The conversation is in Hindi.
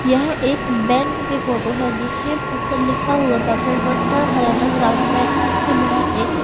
यह एक बैंक की फोटो है जिसके ऊपर लिखा हुआ payment process Haryana Gramin bank इसके बाहर एक--